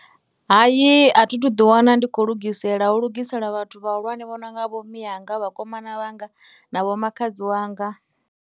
Hai, a thi thu ḓiwana ndi khou lugisela, hu lugisela vhathu vhahulwane vho no nga vhomme anga, vhakomana vhanga, na vhomakhadzi wanga.